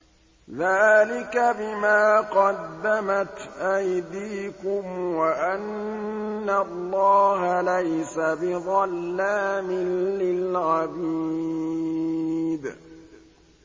ذَٰلِكَ بِمَا قَدَّمَتْ أَيْدِيكُمْ وَأَنَّ اللَّهَ لَيْسَ بِظَلَّامٍ لِّلْعَبِيدِ